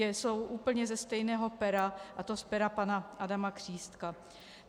Jsou úplně ze stejného pera, a to z pera pana Adama Křístka.